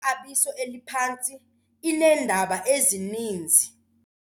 yexabiso eliphantsi ineendaba ezininzi.